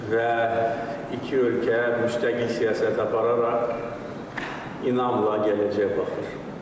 Və iki ölkə müstəqil siyasət apararaq inamla gələcəyə baxır.